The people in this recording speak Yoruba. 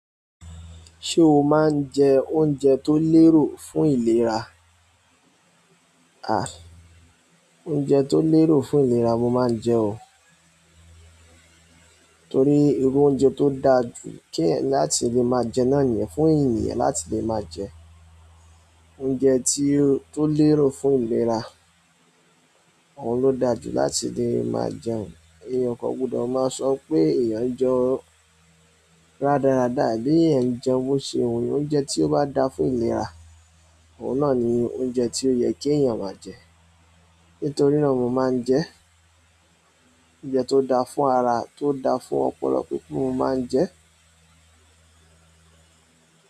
Ṣé o máa ń jẹ oúnjẹ tó lérò fún ìlera? A, oúnjẹ tó lérò fún ìlera mo máa ń jẹ o. Torí irú oúnjẹ tó da jú kí eyan láti lè máa jẹ náà niyen fún ènìyàn láti lè máa jẹ. Oúnjẹ tí, tó lérò fún ìlera, òun ló da jú láti lè máa jẹun. Èèyàn o kò gbudọ̀ máa sọ pé èèyàn n jẹ ọ́ rádaràda, àbí èèyàn n jẹun bó ṣe wù eyan. Oúnjẹ tí ó bá da fún ìlera, òun náà ni oúnjẹ tí ó yẹ kí èèyàn máa jẹ. Nítorí náà mo máa ń jẹ oúnjẹ tó da fún ara, tó da fún ọpọlọ pípé mo máa ń jẹ.